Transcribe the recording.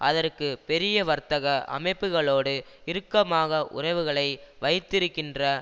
அதற்கு பெரிய வர்த்தக அமைப்புக்களோடு இறுக்கமாக உறவுகளை வைத்திக்கின்ற